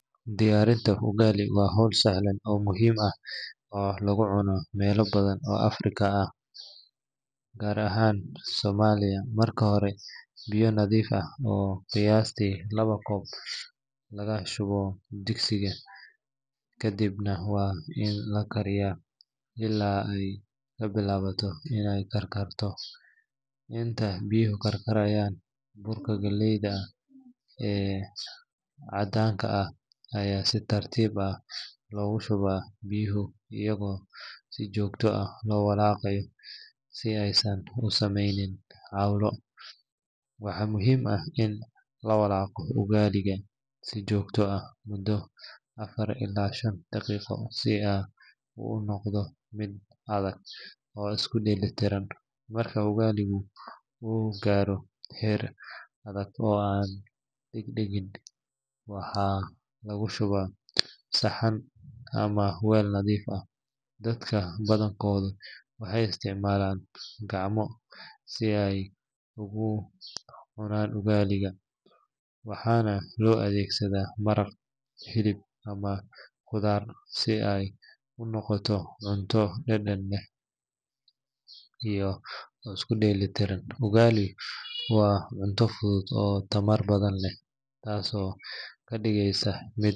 Diyaarinta ugali waa hawl sahlan oo muhiim ah oo laga cuno meelo badan oo Afrika ah, gaar ahaan Soomaaliya. Marka hore, biyo nadiif ah oo qiyaastii laba koob laga shubo digsiga, kadibna waa in la kariyaa ilaa ay ka bilaabato inay karkarato. Inta biyaha karkarayaan, burka galleyda ah ee caddaanka ah ayaa si tartiib ah loogu shubaa biyaha iyadoo si joogto ah loo walaaqayo si aysan u sameynin cawlo. Waxaa muhiim ah in la walaaqo ugali-ga si joogto ah muddo afar ilaa shan daqiiqo si uu u noqdo mid adag oo isku dheeli tiran. Marka ugali-gu uu gaaro heer adag oo aan dheg-dhegin, waxaa lagu shubaa saxan ama weel nadiif ah. Dadka badankoodu waxay isticmaalaan gacmaha si ay ugu cunaan ugali-ga, waxaana loo adeegsadaa maraq, hilib, ama khudaar si ay u noqoto cunto dhadhan leh oo isku dheelitiran. Ugali waa cunto fudud oo tamar badan leh, taasoo ka dhigaysa mid.